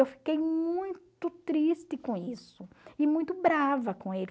Eu fiquei muito triste com isso e muito brava com ele.